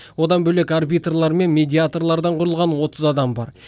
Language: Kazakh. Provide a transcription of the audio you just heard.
одан бөлек арбитрлар мен медиаторлардан құрылған отыз адам бар